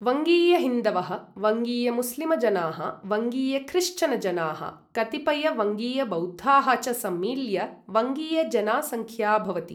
वङ्गीयहिन्दवः, वङ्गीयमुस्लिमजनाः, वङ्गीयख्रिश्चनजनाः, कतिपयवङ्गीयबौद्धाः च सम्मील्य वङ्गीयजनासङ्ख्या भवति।